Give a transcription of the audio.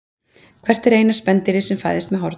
Hvert er eina spendýrið sem fæðist með horn?